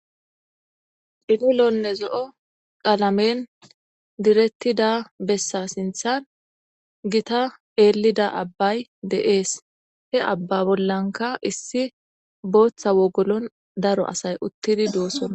Cililonne zo'o qalamen tiyetida bessa sinththan gita eelida abbay de'es. He abba bollankka issi booththa wogolon daro asay uttidi doosona.